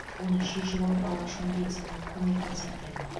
оны шешіп алып алғашқы медициналық көмек көрсеткен